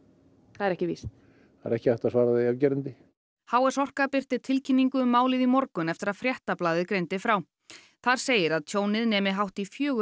það er ekki víst það er ekki hægt að svara því afgerandi h s orka birti tilkynningu um málið í morgun eftir að Fréttablaðið greindi frá þar segir að tjónið nemi hátt í fjögur